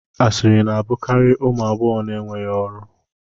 Asịrị na-abụkarị ụmụ agbọghọ na-enweghị ọrụ